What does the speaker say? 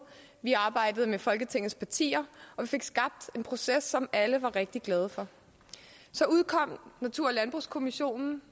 vi arbejdede med folketingets partier og vi fik skabt en proces som alle var rigtig glade for så udkom natur og landbrugskommissionen